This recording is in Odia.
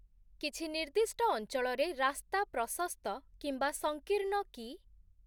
କିଛି ନିର୍ଦ୍ଦିଷ୍ଟ ଅଞ୍ଚଳରେ ରାସ୍ତା ପ୍ରଶସ୍ତ କିମ୍ବା ସଂକୀର୍ଣ୍ଣ କି?